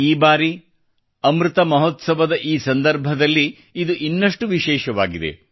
ಈ ಬಾರಿ ಅಮೃತ ಮಹೋತ್ಸವದಲ್ಲಿ ಈ ಸಂದರ್ಭ ಇದು ಇನ್ನಷ್ಟು ವಿಶೇಷವಾಗಿದೆ